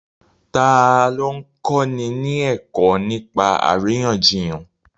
Ta ló ń kọ́ni ní ẹ̀kọ́ nípa àríyànjiyàn?